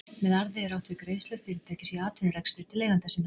með arði er átt við greiðslur fyrirtækis í atvinnurekstri til eigenda sinna